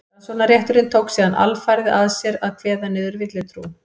rannsóknarrétturinn tók síðan alfarið að sér að kveða niður villutrú